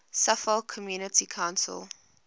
suffolk community council